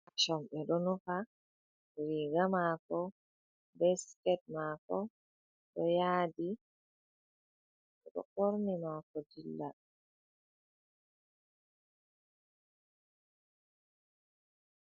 Pation ɓe ɗo nufa riga mako ɓe sket mako ɗo yaadi, oɗo ɓorni mako dilla.